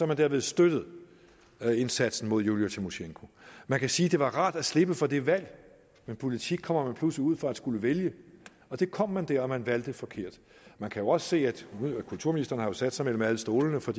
man derved støttet indsatsen mod julija tymosjenko man kan sige det var rart at slippe for det valg men i politik kommer man pludselig ud for at skulle vælge og det kom man der og man valgte forkert man kan også se at kulturministeren har sat sig mellem alle stolene for